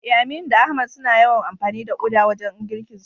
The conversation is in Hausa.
Eh, Aminu da Ahmad suna yawan amfani da uda wajen girkinsu.